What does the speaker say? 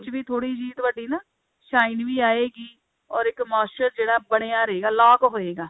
ਵੀ ਥੋੜੀ heat ਵਧੀ ਨਾ shine ਵੀ ਆਏਗੀ or ਇੱਕ moisture ਜਿਹੜਾ ਬਣਿਆ ਰਹੇਗਾ lock ਹੋਏਗਾ